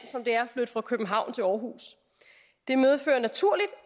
som det er at flytte fra københavn til århus det medfører naturligt